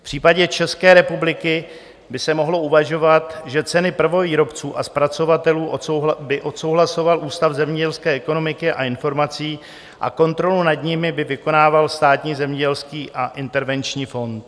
V případě České republiky by se mohlo uvažovat, že ceny prvovýrobců a zpracovatelů by odsouhlasoval Ústav zemědělské ekonomiky a informací a kontrolu nad nimi by vykonával Státní zemědělský a intervenční fond.